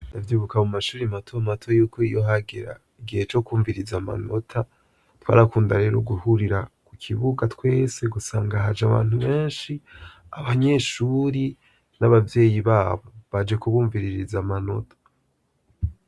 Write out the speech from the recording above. Ndavyibuka mu mashure mato mato iyo hagera igihe co kwumviriza amanota, twarakunda rero guhurira ku kibuga twese ugasanga haje abantu benshi, abanyeshuri n'abavyeyi babo baje kubumviririza amanota.